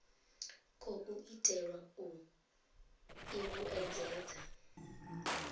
khou itelwa u i vhuedzedza